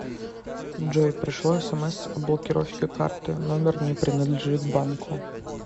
джой пришло смс о блокировке карты номер не принадлежит банку